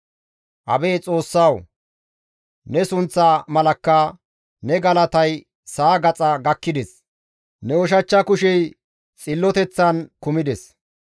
Abeet Xoossawu, ne sunththa malakka ne galatay sa7a gaxa gakkides; ne ushachcha kushey xilloteththan kumides.